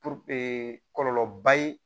kɔlɔlɔ ba ye